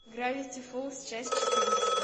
гравити фолз часть четырнадцатая